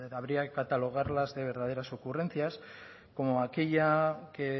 habría que catalogarlas de verdaderas ocurrencias como aquella que